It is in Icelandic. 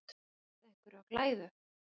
Að kasta einhverju á glæður